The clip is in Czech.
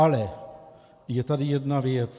Ale je tady jedna věc.